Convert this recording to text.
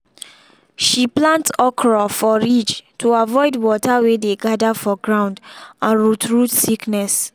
she plant okra for ridge to avoid water wey dey gather for ground and root root sickness.